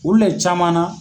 Olu le caman na